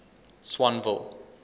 swanville